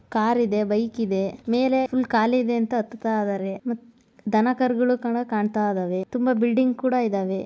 ಕಾರಿದೆ ಬೈಕಿದೆ ಮೇಲೆ ಕಾಲಿ ಇದೆ ಅಂತ ಹತ್ತುತ್ತಾ ಇದ್ದಾರೆ ದನ ಕರುಗಳು ಕೂಡ ಕಾಣ್ತಾ ಇದಾವೆ ತುಂಬಾ ಬಿಲ್ಡಿಂಗ್ ಇದಾವೆ.